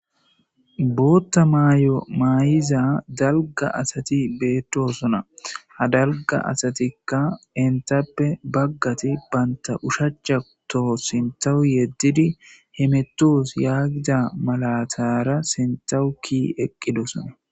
Bootta maay'o maayiza dalga asati beettosona ha dalga asatikka intappe baggati banta ushachato sintawu yeddidi hemetos yaagida malatara sintahuki eqqidosona.